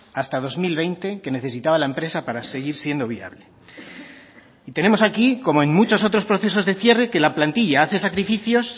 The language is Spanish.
hasta dos mil veinte que necesitaba la empresa para seguir siendo viable y tenemos aquí como en muchos otros procesos de cierre que la plantilla hace sacrificios